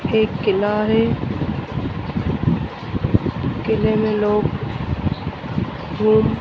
के किनारे किले में लोग घुम--